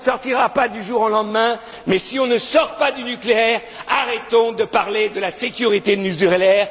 on ne sortira pas du jour au lendemain, mais si on ne sort pas du nucléaire, arrêtons de parler de la sécurité nucléaire.